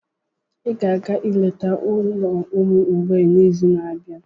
Ị ga-aga ileta ụlọ ụmụ mgbei n'izu na-abịa.